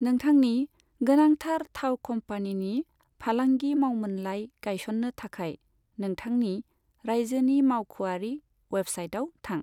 नोंथांनि गोनांथार थाव कम्पानिनि फालांगि मावमोनलाइ गायसननो थाखाय, नोंथांनि रायजोनि मावख'आरि वेबसाइटआव थां।